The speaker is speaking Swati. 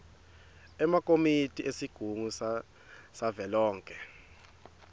emakomiti esigungu savelonkhe